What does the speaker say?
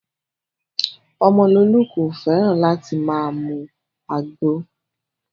Omololu kò fẹ́ràn láti máa mu àgbo